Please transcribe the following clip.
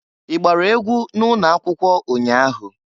I gbara egwu n'ụnọakwụkwọ ụnya ahụ?